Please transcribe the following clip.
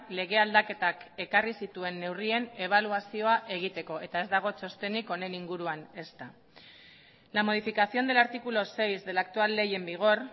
lege aldaketak ekarri zituen neurrien ebaluazioa egiteko eta ez dago txostenik honen inguruan ezta la modificación del artículo seis de la actual ley en vigor